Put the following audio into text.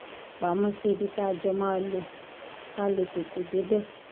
pamọ́ sí ibi tá a jọ máa ń lò ká lè tètè débẹ̀